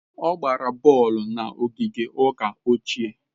Ọ gbara bọọlụ na ogige ụka ochie.